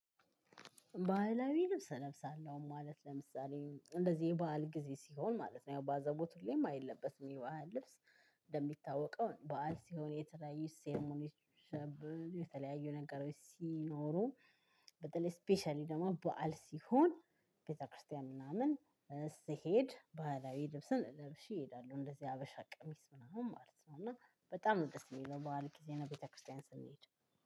ባህላዊ ልብስ እለብሳለሁ ማለት ለምሳሌ እንደዚህ የባህል ጊዜ ሲሆን ማለት ነው ያው በአዛቦት ሁሌም አይለበትም ይሄ በዓል ልብስ። እንደሚታወቀው በዓል ሲሆን የተለያየ ሴሪሞኒ። የተለያየ ነገሮች ሲኖሩ። በተለይ ስፔሻሊ ደግሞ በዓል ሲሆን ቤተክርስቲያን ምናምን። ስሄድ ባህላዊ ልብስን ለብሼ እሄዳለሁ እንደዚህ ሀበሻ ቀሚስ ምናምን ማለት ነው። እና በጣም ደስ የሚለው በበዐል ጊዜ ነው። ቤተክርስቲያን ስንሄድ